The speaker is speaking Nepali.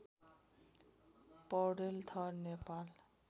पौडेल थर नेपाल